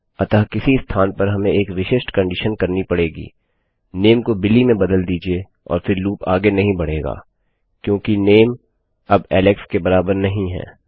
अतः किसी स्थान पर हमें एक विशिष्ट कंडीशन कहनी पड़ेगी नेम को बिली में बदल दीजिये और फिर लूप आगे नहीं बढेगा क्योंकि नेम अब एलेक्स के बराबर नहीं है